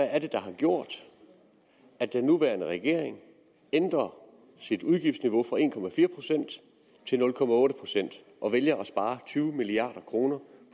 er der har gjort at den nuværende regering ændrer sit udgiftsniveau fra en procent til nul procent og vælger at spare tyve milliard kroner